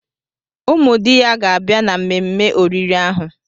Ụmụ di ya ga-abịa na mmemme oriri ahụ.